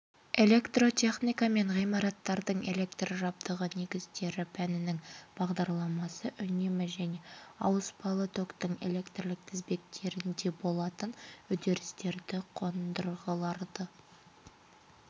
электротехника және ғимараттардың электр жабдығы негіздері пәнінің бағдарламасы үнемі және ауыспалы токтың электрлік тізбектерінде болатын үрдістерді қондырғыларды